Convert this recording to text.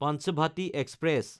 Panchvati express